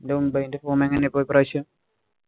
മുംബൈന്‍റെ form എങ്ങനെയാ ഈ പ്രാവശ്യം?